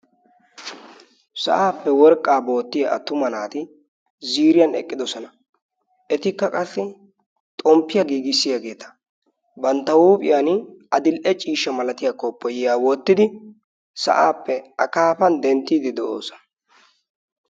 Sa'appe worqqaa bookkiya attuma naati ziiriyan eqqidosona. Etikka qassi xommpiya giigissiyageeta bantta huuphiyan adil''e ciishsha malatiya koppiyiya wottidi sa'appe akaafan denttiiddi de'oosona.